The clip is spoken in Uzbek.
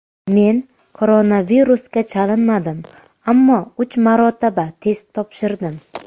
Men koronavirusga chalinmadim, ammo uch marotaba test topshirdim.